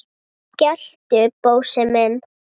geltu, Bósi minn!